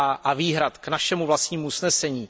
a výhrad k našemu vlastnímu usnesení.